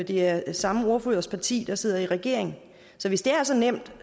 det er samme ordførers parti der sidder i regering så hvis det er så nemt